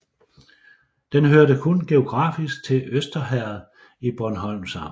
Den hørte kun geografisk til Øster Herred i Bornholms Amt